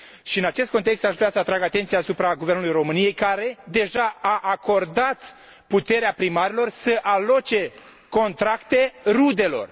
În acest context, aș vrea să atrag atenția asupra Guvernului României, care deja a acordat puterea primarilor să aloce contracte rudelor.